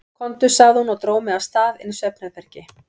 Komdu, sagði hún og dró mig af stað inn í svefnherbergi.